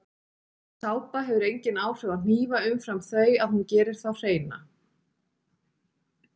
Sápa hefur engin áhrif á hnífa umfram þau að hún gerir þá hreina.